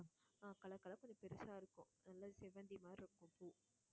ஆஹ் color color ஆ கொஞ்சம் பெருசா இருக்கும் நல்ல செவ்வந்தி மாதிரி இருக்கும் பூ